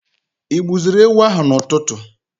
igbuziri ewu ahụ na ụtụtụ?